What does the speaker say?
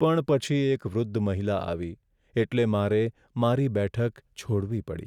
પણ પછી એક વૃદ્ધ મહિલા આવી એટલે મારે મારી બેઠક છોડવી પડી.